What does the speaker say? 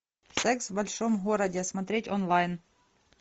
секс в большом городе смотреть онлайн